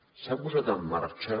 s’ha posat en marxa